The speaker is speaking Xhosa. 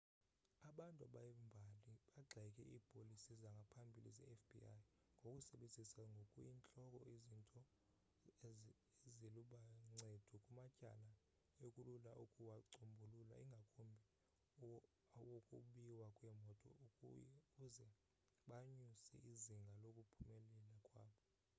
abantu bembali bagxeke iipolisi zangaphambili zefbi ngokusebenzisa ngokuyintloko izinto zalo eziluncedo kumatyala ekulula ukuwacombulula ingakumbi awokubiwa kweemoto ukuze banyuse izinga lokuphumelela kwabo